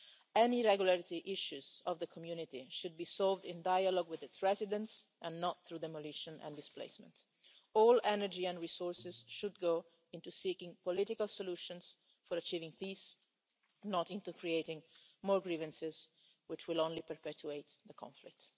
Any irregularity issues in the community should be solved in dialogue with its residents and not through demolition and displacement. All energy and resources should go into seeking political solutions for achieving peace, not into creating more grievances, which will only perpetuate the conflict.